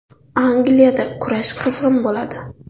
Angliyada kurash qizg‘in bo‘ladi!